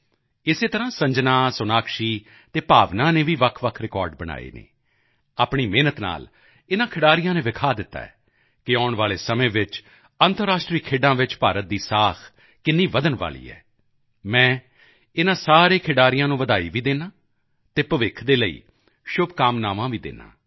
ਇਸੇ ਤਰ੍ਹਾਂ ਸੰਜਨਾ ਸੋਨਾਕਸ਼ੀ ਅਤੇ ਭਾਵਨਾ ਨੇ ਵੀ ਵੱਖਵੱਖ ਰਿਕਾਰਡ ਬਣਾਏ ਹਨ ਆਪਣੀ ਮਿਹਨਤ ਨਾਲ ਇਨ੍ਹਾਂ ਖਿਡਾਰੀਆਂ ਨੇ ਦਿਖਾ ਦਿੱਤਾ ਹੈ ਕਿ ਆਉਣ ਵਾਲੇ ਸਮੇਂ ਵਿੱਚ ਅੰਤਰਰਾਸ਼ਟਰੀ ਖੇਡਾਂ ਚ ਭਾਰਤ ਦੀ ਸਾਖ ਕਿੰਨੀ ਵਧਣ ਵਾਲੀ ਹੈ ਮੈਂ ਇਨ੍ਹਾਂ ਸਾਰੇ ਖਿਡਾਰੀਆਂ ਨੂੰ ਵਧਾਈ ਵੀ ਦਿੰਦਾ ਹਾਂ ਅਤੇ ਭਵਿੱਖ ਦੇ ਲਈ ਸ਼ੁਭਕਾਮਨਾਵਾਂ ਵੀ ਦਿੰਦਾ ਹਾਂ